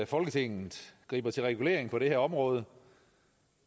folketinget griber til regulering på det her område